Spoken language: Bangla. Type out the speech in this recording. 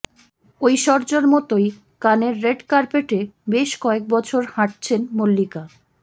ঐশ্বর্য্যের মতোই কানের রেড কার্পেটে বেশ কয়েক বছর হাঁটছেন মল্লিকা